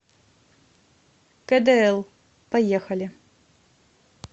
кэдээл поехали